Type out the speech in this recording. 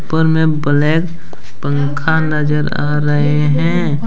ऊपर में ब्लैक पंखा नजर आ रहे हैं।